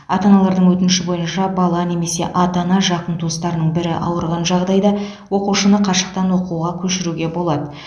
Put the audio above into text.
ата аналардың өтініші бойынша бала немесе ата ана жақын туыстарының бірі ауырған жағдайда оқушыны қашықтан оқуға көшіруге болады